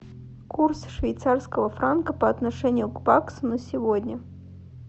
курс швейцарского франка по отношению к баксу на сегодня